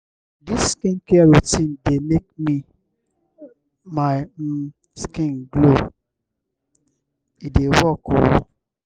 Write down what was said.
dis skincare routine dey make my um skin glow e dey work o.